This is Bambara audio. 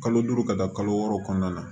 Kalo duuru ka taa kalo wɔɔrɔ kɔnɔna na